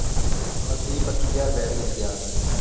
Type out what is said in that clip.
ਮਤਲਬ ਤੀਹ ਬੱਤੀ ਹਜ਼ਾਰ ਰੁਪਿਆ ਤੇ ਕਿਤੇ ਗਿਆ ਨੀ